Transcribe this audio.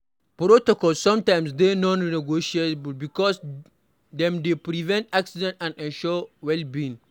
Protocols sometimes dey non negotiable because dem dey prevent accident and ensure welbeing